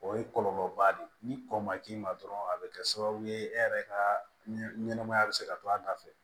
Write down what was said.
O ye kɔlɔlɔba de ye ni kɔ ma k'i ma dɔrɔn a bɛ kɛ sababu ye e yɛrɛ ka ɲɛnɛmaya bɛ se ka to a da fɛ